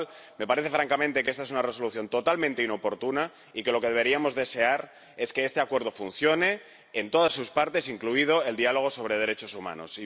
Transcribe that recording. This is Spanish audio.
Con lo cual, me parece francamente que esta es una Resolución totalmente inoportuna y que lo que deberíamos desear es que este Acuerdo funcione en todas sus partes, incluido el diálogo sobre derechos humanos.